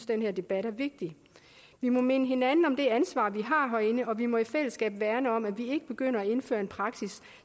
den her debat er vigtig vi må minde hinanden om det ansvar vi har herinde og vi må i fællesskab værne om at vi ikke begynder at indføre en praksis